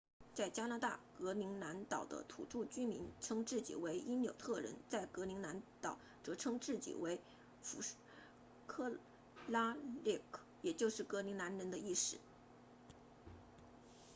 在加拿大格陵兰岛的土著居民称自己为因纽特人在格陵兰岛则称自己为 kalaalleq 复数为 kalaallit 也就是格陵兰人的意思